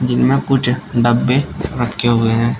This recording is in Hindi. इनमें कुछ डब्बे रखे हुए हैं।